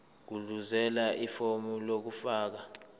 gudluzela ifomu lokufaka